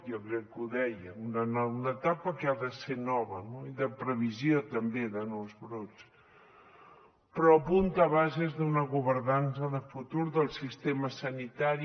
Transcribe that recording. jo crec que ho deia una etapa que ha de ser nova no i de previsió també de nous brots però apunta a bases d’una governança de futur del sistema sanitari